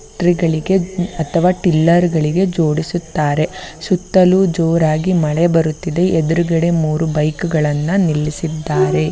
ಗಳಿಗೆ ಅಥವಾ ಟಿಲ್ಲರ್ ಗಳಿಗೆ ಜೋಡಿಸಿದ್ದಾರೆ. ಸುತ್ತಲು ಜೋರಾಗಿ ಮಳೆ ಬರುತ್ತಿದೆ. ಎದರುಗಡೆ ಮೂರು ಬೈಕುಗಳನ್ನ ನಿಲ್ಲಿಸಿದ್ದಾರೆ.